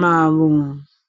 mavo.